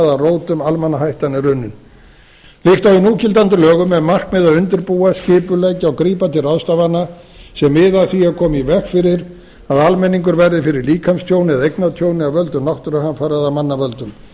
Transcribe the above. hvaða rótum almannahættan er runnin líkt og í núgildandi lögum er markmið að undirbúa skipuleggja og grípa til ráðstafana sem miða að því að koma í veg fyrir að almenningur verði fyrir líkamstjóni eða eignatjóni af völdum náttúruhamfara af mannavöldum